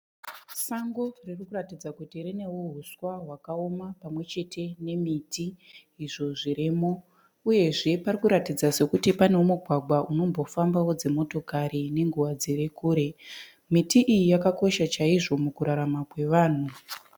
Sango riri kuratidza kuti rinewo huswa hwakaoma pamwechete nemiti izvo zvirimo uyezve pari kuratidza sokuti pane mugwagwa unombofambawo dzimotokari nenguva dziri kure. Miti iyi yakakosha chaizvo mukurarama kwevanhu.